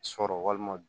Sɔrɔ walima